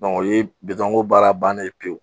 o ye ko baara bannen ye pewu.